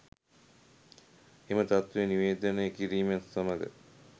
එම තත්වය නිවේදනය කිරීමත් සමඟ